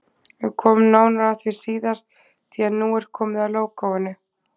Við komum nánar að því síðar, því nú er komið að lógóinu.